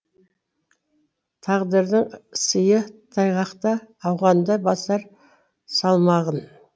тағдырдың сыйы тайғақта ауғанды басар салмағым